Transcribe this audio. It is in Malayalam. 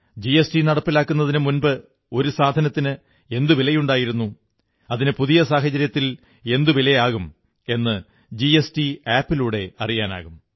ജിഎസ്ടി നടപ്പിലാക്കുന്നതിനു മുമ്പ് ഒരു സാധനത്തിന് എന്തു വിലയുണ്ടായിരുന്നു അതിന് പുതിയ സാഹചര്യത്തിയിൽ എന്തു വിലയാകും എന്ന് ജിഎസ്ടി ആപ്പിലൂടെ അറിയാനാകും